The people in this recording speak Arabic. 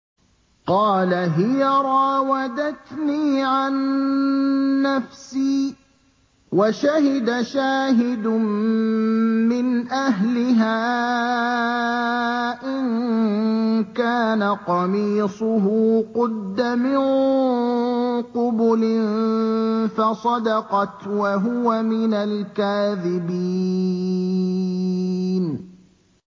قَالَ هِيَ رَاوَدَتْنِي عَن نَّفْسِي ۚ وَشَهِدَ شَاهِدٌ مِّنْ أَهْلِهَا إِن كَانَ قَمِيصُهُ قُدَّ مِن قُبُلٍ فَصَدَقَتْ وَهُوَ مِنَ الْكَاذِبِينَ